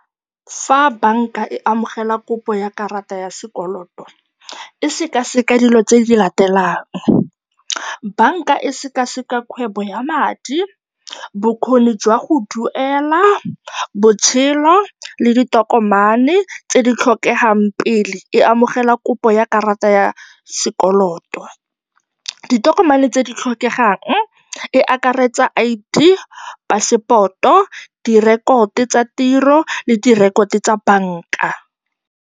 Fa banka e amogela kopo ya karata ya sekoloto, e sekaseka dilo tse di latelang, banka e sekaseka kgwebo ya madi, bokgoni jwa go duela, botshelo le ditokomane tse di tlhokegang pele e amogela kopo ya karata ya sekoloto. Ditokomane tse di tlhokegang, e akaretsa I_D, passport-o, direkoto tsa tiro le direkoto tsa banka.